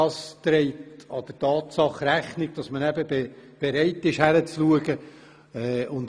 Damit wird der Tatsache Rechnung getragen, dass man bereit ist hinzusehen.